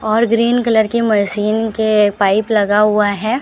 और green colour की मशीन के पाइप लगा हुआ है।